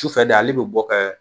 Sufɛ de ale bɛ bɔ kɛ